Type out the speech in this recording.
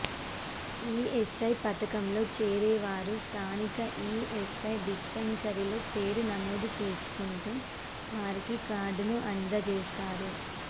ESI పథకంలో చేరే వారు స్థానిక ఈఎస్ఐ డిస్పెన్సరీలో పేరు నమోదు చేసుకుంటే వారికి కార్డును అందజేస్తారు